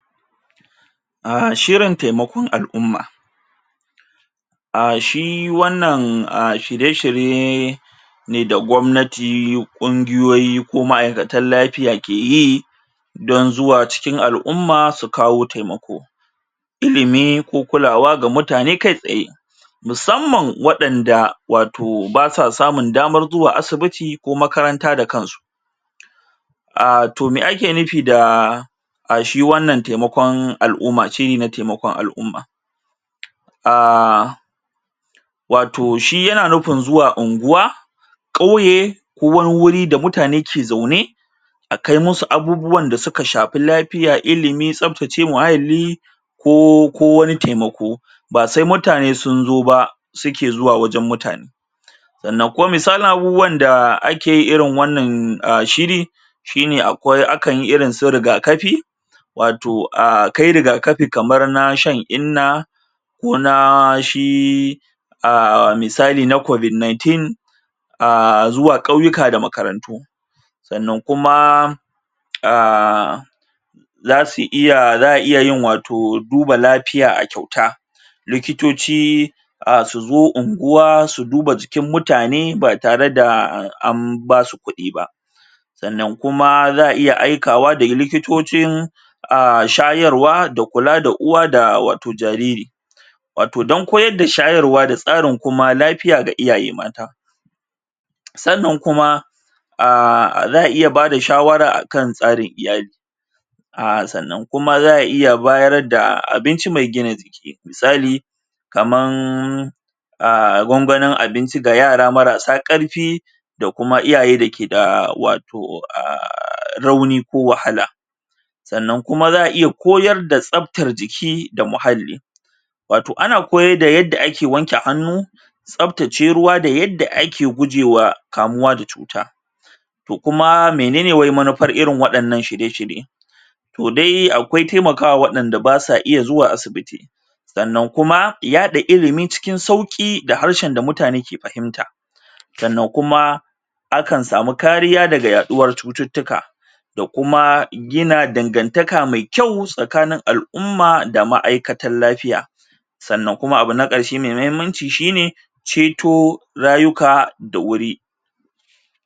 A shirin taimakon al'umma a shi wannan a shirye shirye ne da gwamnati, ƙungiyoyi ko ma'aikatan lafiya ke yi don zuwa cikin al'umma su kawo taimako ilimi ko kulawa ga mutane kai tsaye musamman waɗanda wato basa samun damar zuwa asibiti ko makaranta da kansu a toh me ake nufi da a shi wannan taimakon al'umma shiri na taimakon al'umma um wato shi yana nufin zuwa unguwa ƙauye ko wani wuri da mutane ke zaune a kai musu abubuwan da suka shafi lafiya, ilimi, tsaftace muhalli ko ko wani taimako ba sai mutane sun zo su ke zuwa wurin mutane sannan kuma misalin abubuwan da ake irin wannan shiri shine akwai akan yi irin su rigakafi wato a kai rigakafi kamar na shan inna ko na shi a misali na covid nineteen aaa zuwa ƙauyuka da makarantu sannan kuma um za su iya za a iya duba lafiya a kyauta likitoci a su zo unguwa su duba jikin mutane ba tare da an ba su kuɗi ba sannan kuma za a iya aikawa da likitocin a shayarwa da kula uwa da wato jariri wato don koyor shayarwa da tsarin kuma lafiya ga iyaye mata sannan kuma a za a iya bada shawara akan tsarin iyali a sannan kuma za a iya bayar da abinci mai gina misali kaman a gwangwanin abinci ga yara marasa ƙarfi da kuma iyaye da ke da kuma rauni ko wahala sannan kuma za a iya koyar da tsaftan jiki ko muhalli wato ana koyar da yadda ake wanke hannu tsaftace ruwa da yadda ake gujewa kamuwa da cuta toh kuma menene wai manufar irin wadannan shirye shirye toh dai akwai taimaka wa waɗanda basa iya zuwa asibiti sannan kuma yaɗa ilimi cin sauƙi da harshe da mutane ke fahimta sannan kuma a kan samu kariya daga yaɗuwar cututtuka da kuma gina dangantaka mai kyau tsakanin al'umma da ma'aikatan lafiya sannan kuma abu na ƙarshe mai muhimmanci shine ceto rayuka da wuri.